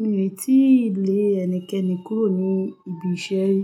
Mi ò tí lé ẹnikẹ́ni kúrò ní ibi iṣẹ́ rí.